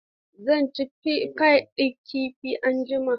Zan ci fai ɗin kifi anjima.